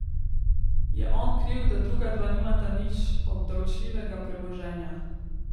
Je on kriv, da druga dva nimata nič obdavčljivega premoženja?